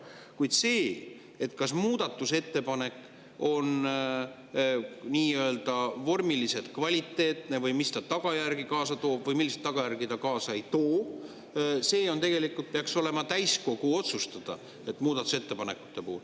Kuid see, kas muudatusettepanek on nii-öelda vormiliselt kvaliteetne või mis tagajärgi ta kaasa toob või milliseid tagajärgi ta kaasa ei too, peaks olema muudatusettepanekute puhul täiskogu otsustada.